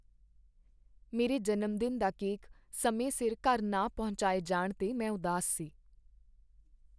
ਮੇਰੇ ਜਨਮਦਿਨ ਦਾ ਕੇਕ ਸਮੇਂ ਸਿਰ ਘਰ ਨਾ ਪਹੁੰਚਾਏ ਜਾਣ 'ਤੇ ਮੈਂ ਉਦਾਸ ਸੀ।